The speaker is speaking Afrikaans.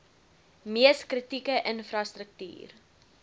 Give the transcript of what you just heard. mees kritieke infrastruktuur